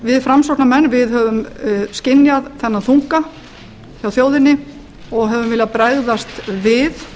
við framsóknarmenn höfum skynjað þennan þunga hjá þjóðinni og höfum viljað bregðast við